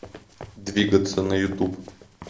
двигаться на ютуб